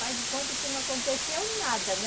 Faz de conta que não aconteceu nada, né?